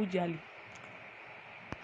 udzali